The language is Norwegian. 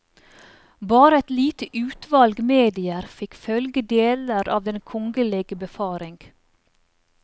Bare et lite utvalg medier fikk følge deler av den kongelige befaring.